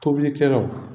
Tobilikɛlaw